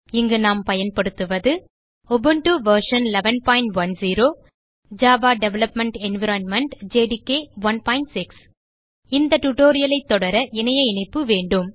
இங்கு நாம் பயன்படுத்துவது Ubuntu version 1110 Java development environment JDK 16 இந்த டியூட்டோரியல் ஐ தொடர இணைய இணைப்பு வேண்டும்